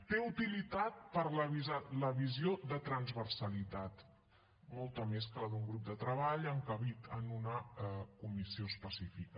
té utilitat per a la visió de transversalitat molta més que la d’un grup de treball encabit en una comissió específica